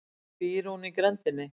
Býr hún í grenndinni?